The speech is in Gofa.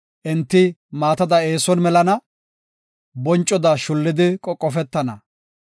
Enti maatada eeson melana; boncoda shullidi qoqofetana.